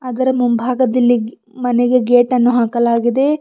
ಅದರ ಮುಂಭಾಗದಲ್ಲಿ ಗೆ ಮನೆಗೆ ಗೇಟನ್ನು ಹಾಕಲಾಗಿದೆ.